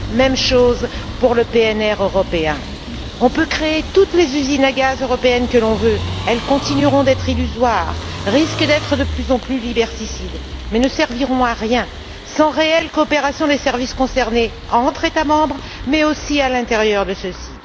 Même chose pour le PNR européen. On peut créer toutes les usines à gaz européennes que l'on veut, elles continueront d'être illusoires, risquent d'être de plus en plus liberticides, mais ne serviront à rien sans réelle coopération des services concernés entre les États membres, mais aussi à l'intérieur de ceux ci.